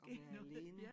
At være alene